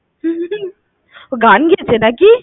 ও গান গেয়েছে নাকি?